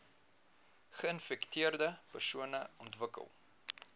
geinfekteerde persone ontwikkel